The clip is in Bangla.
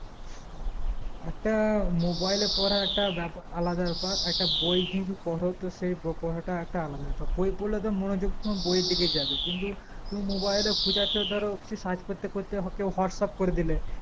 একটা mobile এ পড়া একটা ব্যাপারআলাদা ব্যাপার একটা বই যদি পরতো সেই পড়াটা আলাদা ব্যাপার বই পড়লে তো মনোযোগ তোমার বইয়ের দিকে যাবে কিন্তু টু mobile এ খুচ্ছে ধরো কিছু search করতে করতে কেকেও whatsapp করেদিলে